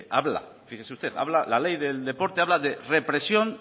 habla la ley del deporte habla de represión